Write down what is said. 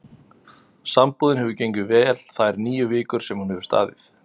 Sambúðin hefur gengið vel þær níu vikur sem hún hefur staðið.